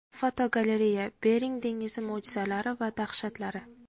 Fotogalereya: Bering dengizi mo‘jizalari va dahshatlari.